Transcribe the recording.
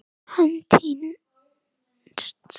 Hann týnst?